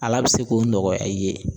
Ala be se k'o nɔgɔya i ye.